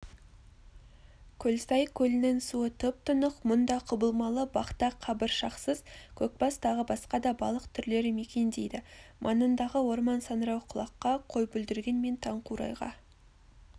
көлсай көлінің суы тұп-тұнық мұнда құбылмалы бақтақ қабыршақсыз көкбас тағы басқа да балық түрлері мекендейді маңындағы орман саңырауқұлаққа қойбүлдірген мен таңқурайға